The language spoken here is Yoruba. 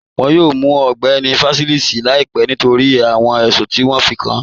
Wọ́n yọ̀ọ̀ mù Ọgbẹni Fásísì làìpẹ̀ nítorí awọn ẹṣùn ti wọn fí kàn án